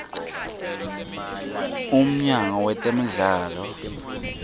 umnyango wetemidlalo